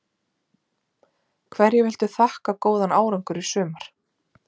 Hverju viltu þakka góðan árangur í sumar?